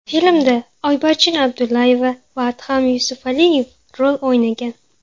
Filmda Oybarchin Abdullayeva va Adham Yusufaliyev rol o‘ynagan.